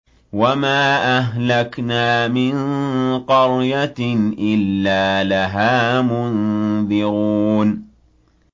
وَمَا أَهْلَكْنَا مِن قَرْيَةٍ إِلَّا لَهَا مُنذِرُونَ